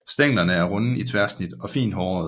Stænglerne er runde i tværsnit og fint hårede